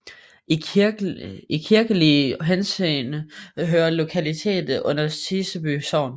I kirkelig henseende hører lokaliteten under Siseby Sogn